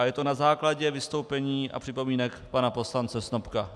A je to na základě vystoupení a připomínek pana poslance Snopka.